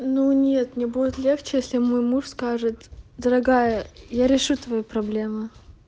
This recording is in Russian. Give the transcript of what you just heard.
ну нет мне будет легче если мой муж скажет дорогая я решу твою проблему